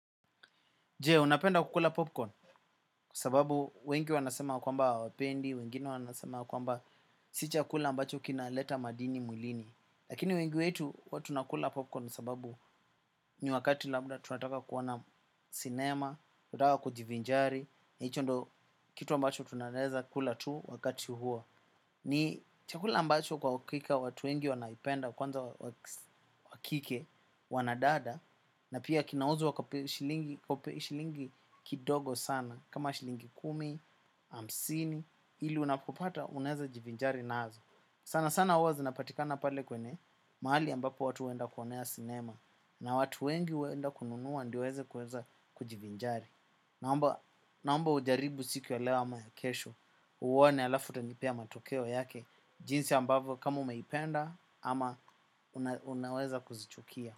Je, unapenda kukula popcorn, kwa sababu wengi wanasema kwamba wapendi, wengine wanasema kwamba si chakula ambacho kina leta madini mwilini. Lakini wengi wetu huwa tunakula popcorn sababu ni wakati labda tunataka kuona cinema, tunataka kujivinjari, na hicho ndio kitu ambacho tu naeza kula tu wakati huo. Ni chakula ambacho kwa hakika watu wengi wanaipenda kwanza wakike wanadada. Na pia kinauzwa kwa shilingi kidogo sana. Kama shilingi kumi, hamsini, ili unapopata unaeza jivinjari nazo. Sana sana huwa zinapatikana pale kwenye mahali ambapo watu huenda kuonea cinema. Na watu wengi huenda kununua ndio waeze kuweza kujivinjari. Naomba ujaribu siku ya leo ama ya kesho. Uone alafu utanipea matokeo yake. Jinsi ambavyo kama umeipenda ama unaweza kuzichukia.